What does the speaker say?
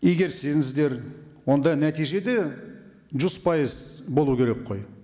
игерсеңіздер онда нәтиже де жүз пайыз болу керек қой